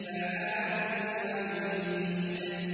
فَعَّالٌ لِّمَا يُرِيدُ